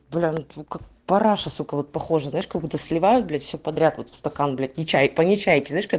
брендбук параша сука вот похоже знаешь как будто сливаются блять все подряд стакан блять нечаев помещаете